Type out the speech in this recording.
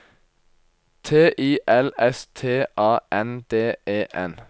T I L S T A N D E N